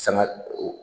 Sanga o